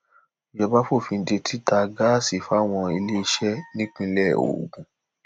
ìjọba fòfin de títa gáàsì fáwọn iléeṣẹ nípínlẹ ogun